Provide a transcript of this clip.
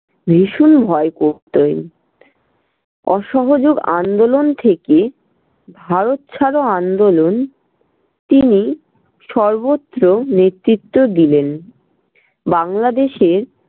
ভীষণ ভয় করতেন। অসহযোগ আন্দোলন থেকে ভারত ছাড়ো আন্দোলন তিনি সর্বত্র নেতৃত্ব দিলেন। বাংলাদেশের